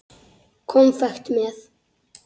Konfekt með.